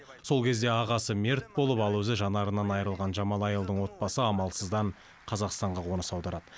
сол кезде ағасы мерт болып ал өзі жанарынан айырылған джамалайлдың отбасы амалсыздан қазақстанға қоныс аударады